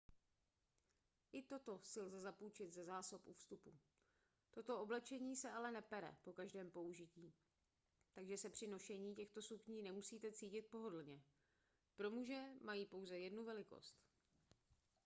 i toto si lze zapůjčit ze zásob u vstupu toto oblečení se ale nepere po každém použití takže se při nošení těchto sukní nemusíte cítit pohodlně pro muže mají pouze jednu velikost